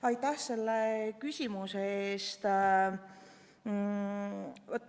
Aitäh selle küsimuse eest!